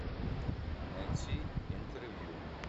найти интервью